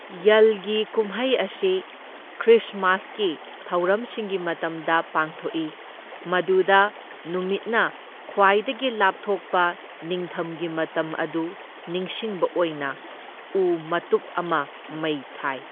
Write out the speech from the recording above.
ꯌꯜꯒꯤ ꯀꯨꯝꯃꯩ ꯑꯁꯤ ꯈ꯭ꯔꯤꯁꯃꯥꯁꯀꯤ ꯊꯧꯔꯝꯁꯤꯡꯒꯤ ꯃꯇꯝꯗ ꯄꯥꯡꯊꯣꯛꯏ, ꯃꯗꯨꯗ ꯅꯨꯃꯤꯠꯅ ꯈ꯭ꯋꯥꯏꯗꯒꯤ ꯂꯥꯞꯊꯣꯛꯄ ꯅꯤꯡꯊꯝꯒꯤ ꯃꯇꯝ ꯑꯗꯨ ꯅꯤꯡꯁꯤꯡꯕ ꯑꯣꯏꯅ ꯎ ꯃꯇꯨꯞ ꯑꯃ ꯃꯩ ꯊꯥꯏ꯫